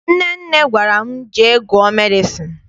Nnenne gwara m, jee gụọ medịcịn!